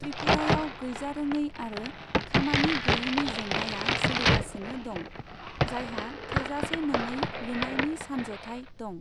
त्रिपुरायाव गैजारोङै आरो खामानि गैयैनि जेंनाया सोलिगासिनो दं, जायहा थोजासे नङै लुनायनि सानज'थाय दं।